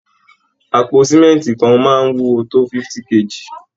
Àpò símẹ́ǹtì kan máa ń wúwo tó 50 kg